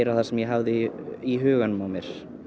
það sem ég hafði í huganum á mér